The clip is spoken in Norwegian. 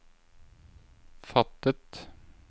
fattet